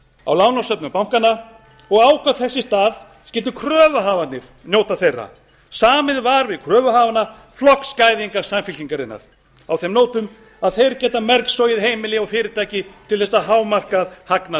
á lánasöfnum bankanna og ákvað að þess í stað skyldu kröfuhafarnir njóta þeirra samið var við kröfuhafana flokksgæðinga samfylkingarinnar á þeim nótum að þeir geta mergsogið heimili og fyrirtæki til þess að hámarka hagnað